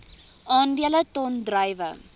aandele ton druiwe